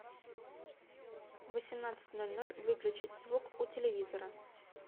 в восемнадцать ноль ноль выключить звук у телевизора